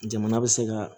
Jamana bɛ se ka